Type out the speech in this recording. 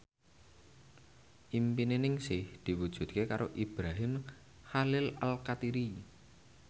impine Ningsih diwujudke karo Ibrahim Khalil Alkatiri